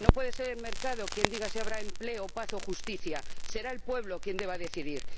No puede ser el mercado quien diga si habrá empleo o paz o justicia será el pueblo quien deba decidir.